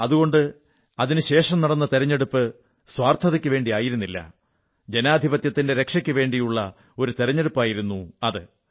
അതുകൊണ്ട് രാജ്യത്തിനുവേണ്ടിയല്ല ആ തിരഞ്ഞെടുപ്പ് സ്വാർഥതയ്ക്കുവേണ്ടിയായിരുന്നില്ല ജനാധിപത്യത്തിന്റെ രക്ഷയ്ക്കുവേണ്ടിയുള്ള ഒരു തെരഞ്ഞെടുപ്പായിരുന്നു അത്